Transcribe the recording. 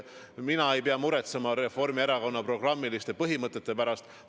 Mina ei pea muretsema Reformierakonna programmiliste põhimõtete pärast.